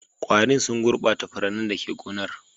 Ƙwarin sun gurbata furannin da ke gonar.